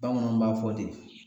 Bamananw b'a fɔ ten